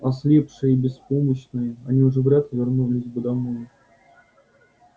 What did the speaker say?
ослепшие и беспомощные они уже вряд ли вернулись бы домой